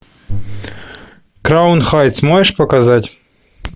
краун хайтс можешь показать